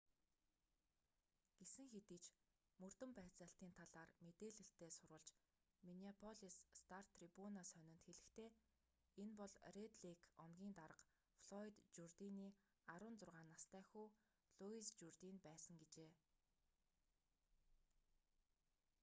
гэсэн хэдий ч мөрдөн байцаалтын талаар мэдээлэлтэй сурвалж миннеаполис стар-трибуна сонинд хэлэхдээ энэ бол рэд лейк омгийн дарга флойд журдины 16 настай хүү луис журдин байсан гэжээ